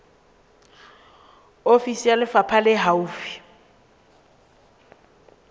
ofisi ya lefapha le haufi